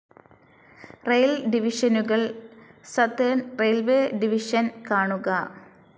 Rail ഡിവിഷനുകൾ. Southern railways division കാണുക